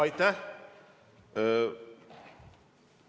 Aitäh!